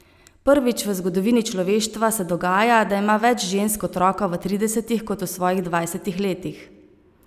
Prvič v zgodovini človeštva se dogaja, da ima več žensk otroka v tridesetih kot v svojih dvajsetih letih.